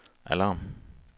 alarm